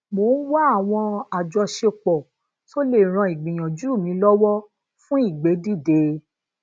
mo n wa awọn ajọṣepọ to le ran igbiyanju mi lọwọ fun igbedide